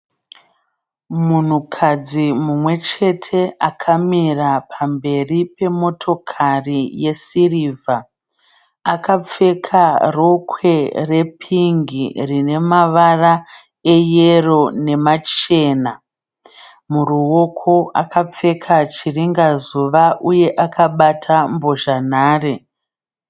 Munhukadzi mumwe chete akamira pamberi pemotokari yesirivha. Akapfeka rokwe repingi rine mavara eyero nemachena. Muruoko akapfeka chiringazuva uye akabata mbozhanhare.